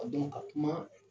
ka kuma